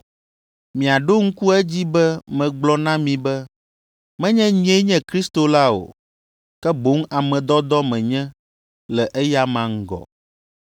Miaɖo ŋku edzi be megblɔ na mi be, ‘Menye nyee nye Kristo la o, ke boŋ ame dɔdɔ menye le eyama ŋgɔ.’